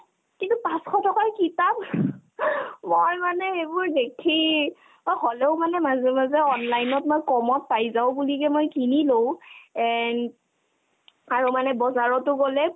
কিন্তু পাঁচশ টকাৰ কিতাপ ! মই মানে সেইবোৰ দেখি অ হ'লেও মানে মাজে মাজে online ত মই ক'মত পাই যাও বুলিকে মই কিনি লও and আৰু মানে বজাৰতো গ'লে